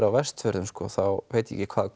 á Vestfjörðum þá veit ég ekki hvar